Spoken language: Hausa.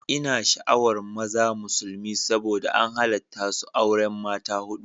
Ina sha'awar maza musulmi saboda an halatta su auren mata hudu